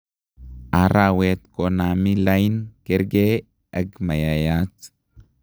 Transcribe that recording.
arawet komami lain kerge ag mayayat